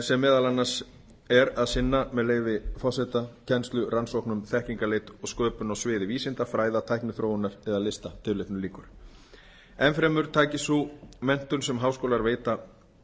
sem meðal annars er að sinna með leyfi forseta kennslu rannsóknum þekkingarleit og sköpun á sviði vísinda fræða tækniþróunar eða lista tilvitnun lýkur enn fremur taki sú menntun sem háskólar veita